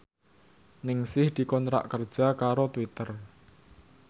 Ningsih dikontrak kerja karo Twitter